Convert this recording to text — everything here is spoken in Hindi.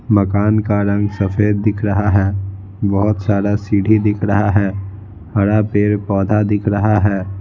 मकान का रंग सफेद दिख रहा है बहुत सारा सीढ़ी दिख रहा है हरा पैर पौधा दिख रहा है।